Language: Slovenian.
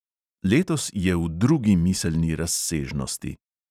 Letos je v drugi miselni razsežnosti.